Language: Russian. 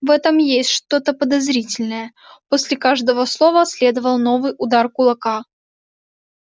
в этом есть что-то подозрительное после каждого слова следовал новый удар кулака